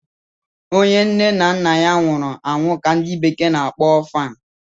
onye nne na nna nwuru anwu ka ndi bekee na-akpọ Orphan